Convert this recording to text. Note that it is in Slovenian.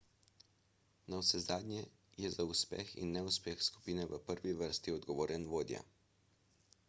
navsezadnje je za uspeh in neuspeh skupine v prvi vrsti odgovoren vodja